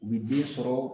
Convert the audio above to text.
U bi den sɔrɔ